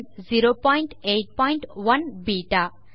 081 பெட்டா